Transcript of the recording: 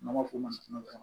N'an b'a fɔ o ma